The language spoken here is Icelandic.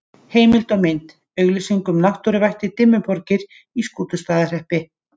Heimildir og mynd: Auglýsing um náttúruvættið Dimmuborgir í Skútustaðahreppi.